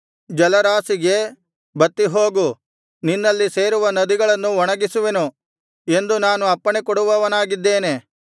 ಜಲರಾಶಿಗೆ ಬತ್ತಿಹೋಗು ನಿನ್ನಲ್ಲಿ ಸೇರುವ ನದಿಗಳನ್ನು ಒಣಗಿಸುವೆನು ಎಂದು ನಾನು ಅಪ್ಪಣೆ ಕೊಡುವವನಾಗಿದ್ದೇನೆ